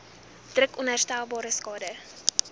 druk onherstelbare skade